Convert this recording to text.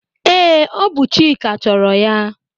Ee, ọ bụ Chika chọrọ ya.